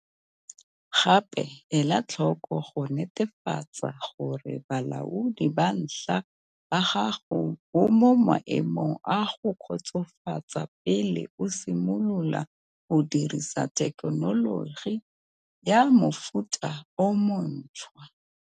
Gape, ela tlhoko go netefatsa gore bolaodi ba ntlha ba gago bo mo maemong a go kgotsofatsa pele o simolola go dirisa thekenoloji ya mofuta o montshwa.